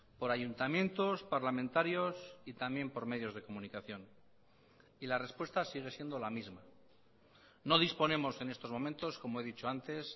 por ayuntamientos parlamentarios y también por medios de comunicación y la respuesta sigue siendo la misma no disponemos en estos momentos como he dicho antes